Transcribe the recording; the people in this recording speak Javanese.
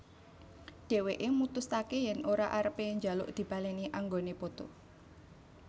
Dheweke mutusake yen ora arepe njaluk dibaleni anggone poto